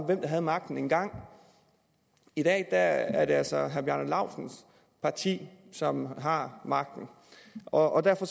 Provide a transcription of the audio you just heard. hvem der havde magten engang i dag er det altså herre bjarne laustsens parti som har magten og derfor